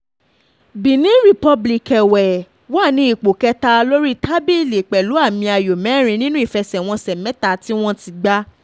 benin republic èwe wà ní ipò kẹta lórí tábìlì pẹ̀lú àmì ayò mẹ́rin nínú ìfẹsẹ̀wọnsẹ̀ mẹ́ta tí wọ́n ti gbà